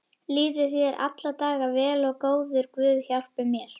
Líði þér alla daga vel og góður guð hjálpi þér.